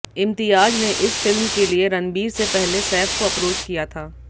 इम्तियाज ने इस फिल्म के लिए रणबीर से पहले सैफ को अप्रोच किया था